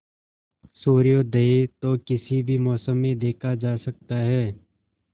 सूर्योदय तो किसी भी मौसम में देखा जा सकता है